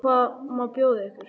Hvað má bjóða ykkur?